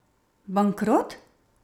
Bankrot?